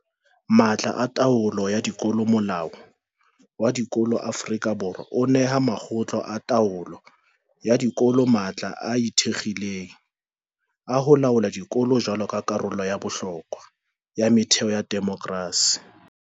Matla a taolo ya dikolo Molao wa Dikolo wa Aforika Borwa o neha makgotla a taolo ya dikolo matla a ikgethileng a ho laola dikolo jwaloka karolo ya bohlokwa ya metheo ya demokerasi.